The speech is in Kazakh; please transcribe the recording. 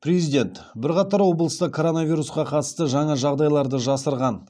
президент бірқатар облыста коронавирусқа қатысты жаңа жағдайларды жасырған